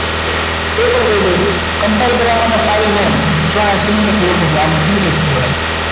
તે પણ કહી દવ છુ combine કરવા માટે file ને